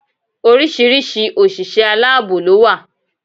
Oríṣiríṣi òṣìṣẹ́ aláàbò ló wà